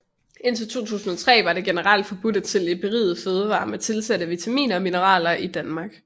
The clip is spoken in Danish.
Indtil 2003 var det generelt forbudt at sælge berigede fødevarer med tilsatte vitaminer og mineraler i Danmark